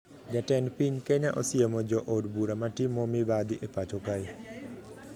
Ja tend piny Kenya osiemo jo od bura matimo mibadhi e pacho kae